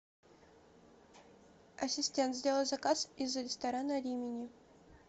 ассистент сделай заказ из ресторана римини